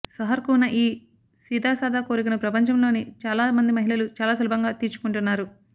సహర్కు ఉన్న ఈ సీదాసాదా కోరికను ప్రపంచంలోని చాలా మంది మహిళలు చాలా సులభంగా తీర్చుకుంటున్నారు